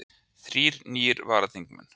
Þrír nýir varaþingmenn